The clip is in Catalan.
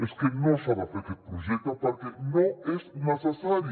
és que no s’ha de fer aquest projecte perquè no és necessari